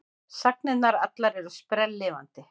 Sagnirnar allar eru sprelllifandi.